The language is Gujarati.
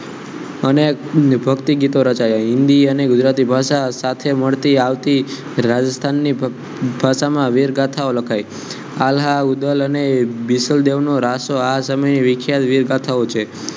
અને ભક્તિ ગીતો રચાયા હિન્દી અને ગુજરાતી ભાષા સાથે મળતી આવતી રાજસ્થાન ની ભાષામાં વીર ગાથાવા લખાય વિખ્યાત વિરગાથાઓ છે